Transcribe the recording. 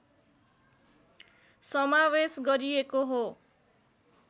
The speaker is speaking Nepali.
समावेश गरिएको हो